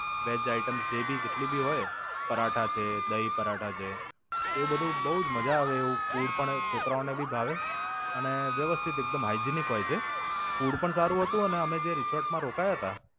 Wedge item જે ભી જેટલી હોય પરાઠા છે, દહીં પરાઠા છે. તેવું બધું બવ જ મજા આવે એવું food પણ હોય છોકરા ને ભી ભાવે અને વ્યવસ્થિત એકદમ Hygienic હોય છે. food પણ સારું હતું અને અમે જે રિસોર્ટ માં રોકાયા હતા